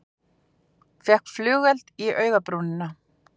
Fékk flugeld í augabrúnina